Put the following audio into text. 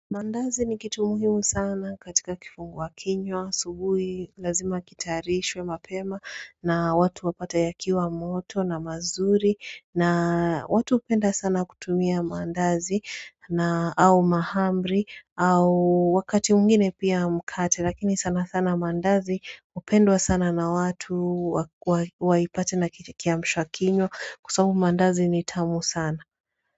Mandazi ni kitu muhimu sana katika kifungua kinywa, asubuhi, lazima kitayarishwe mapema na watu wapate ya kiwa moto na mazuri na watu hupenda sana kutumia mandazi na au mahamri au wakati mwingine pia mkate lakini sana sana mandazi upendwa sana na watu waipate na kiamsha kinywa kwa sababu mandazi ni tamu sana.